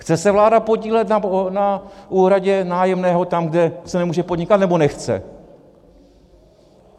Chce se vláda podílet na úhradě nájemného tam, kde se nemůže podnikat, nebo nechce?